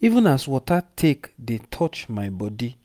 even as water take dey touch my body